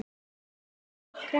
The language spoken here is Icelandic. Hrund: Af hverju ekki?